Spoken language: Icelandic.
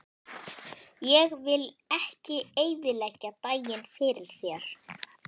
Ég vil ekki eyðileggja daginn fyrir þér.